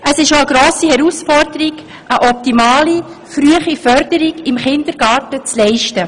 Es ist eine grosse Herausforderung, eine optimale frühe Förderung im Kindergarten hinzubekommen.